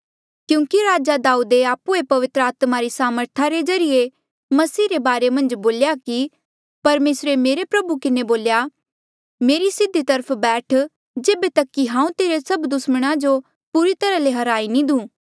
क्यूंकि राजा दाऊदे आप्हुए पवित्र आत्मा री सामर्थ रे ज्रीए मसीह रे बारे मन्झ बोल्या कि परमेसरे मेरे प्रभु किन्हें बोल्या मेरी सीधी तरफ बैठ जेबे तक कि हांऊँ तेरे सब दुस्मणा जो पूरी तरहा ले हराई नी देऊँ